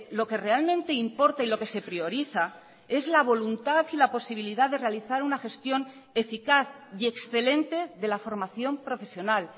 lo que realmente importa y lo que se prioriza es la voluntad y la posibilidad de realizar una gestión eficaz y excelente de la formación profesional